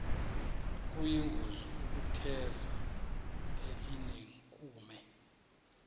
kuyingozi ukutheza elinenkume